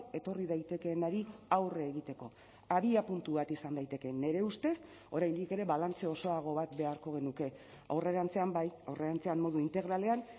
etorri daitekeenari aurre egiteko abiapuntu bat izan daiteke nire ustez oraindik ere balantze osoago bat beharko genuke aurrerantzean bai aurrerantzean modu integralean